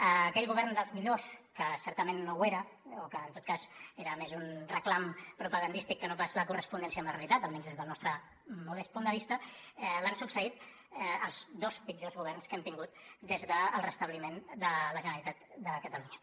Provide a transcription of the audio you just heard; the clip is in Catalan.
a aquell govern dels millors que certament no ho era o que en tot cas era més un reclam propagandístic que no pas la correspondència amb la realitat almenys des del nostre modest punt de vista l’han succeït els dos pitjors governs que hem tingut des del restabliment de la generalitat de catalunya